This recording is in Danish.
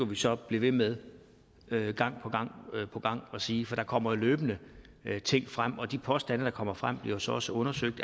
vi så blive ved med gang på gang at sige for der kommer jo løbende ting frem og de påstande der kommer frem bliver så også undersøgt